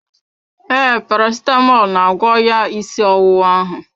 Ee, parasitamọl na-agwọ ya ịsị ọwụwa ahụ